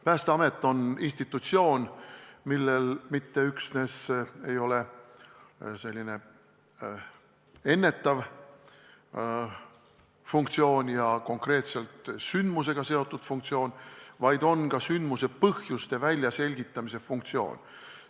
Päästeamet on institutsioon, millel ei ole mitte üksnes ennetav ja konkreetse sündmusega seotud funktsioon, vaid on ka põhjuste väljaselgitamise funktsioon.